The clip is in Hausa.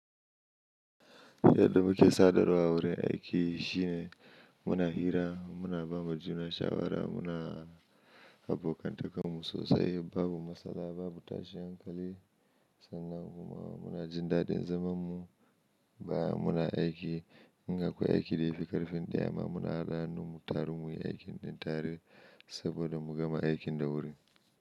Yadda muke sadarwa a wurin aiki shine muna hira, muna ba ma juna shawara, muna abokantakan mu sosai babu matsala babu tashin hankali sannan muma muna jin daɗin zaman mu baya muna aiki in ga akwai aiki da yafi ƙarfin ɗaya ma muna haɗa hannu mu taru muyi aikin ɗin tare saboda mu gama aikin da wuri.